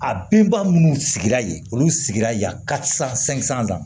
A binba minnu sigira yen olu sigira yen sisan san